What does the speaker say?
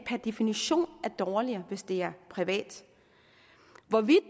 definition er dårligere hvis det er privat